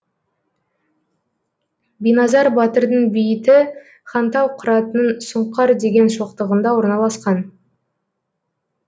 биназар батырдың бейіті хантау қыратының сұңқар деген шоқтығында орналасқан